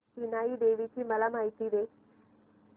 इनाई देवीची मला माहिती दे